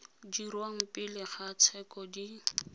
dirwang pele ga tsheko di